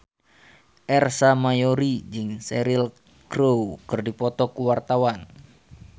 Ersa Mayori jeung Cheryl Crow keur dipoto ku wartawan